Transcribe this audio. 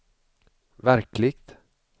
verkligt